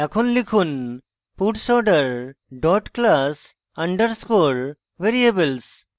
এখন লিখুন puts order dot class underscore variables